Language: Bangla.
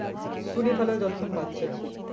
শুনি তাহলে যতক্ষন পারছি এখন